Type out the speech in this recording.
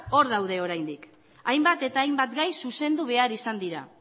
hor daude oraindik hainbat eta hainbat gai zuzendu behar izan dira